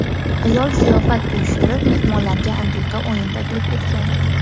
Ayol ziyofat uyushtirib, mehmonlarga antiqa o‘yin taklif etgan.